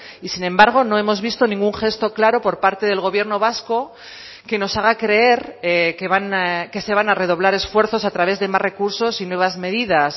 y sin embargo no hemos visto ningún gesto claro por parte del gobierno vasco que nos haga creer que se van a redoblar esfuerzos a través de más recursos y nuevas medidas